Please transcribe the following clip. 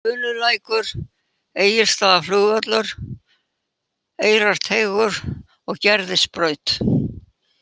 Unulækur, Egilsstaðaflugvöllur, Eyrarteigur, Gerðisbraut